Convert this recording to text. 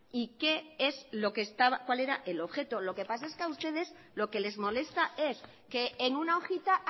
y cuál era el objeto lo que pasa es que a ustedes lo que les molesta es que en una hojita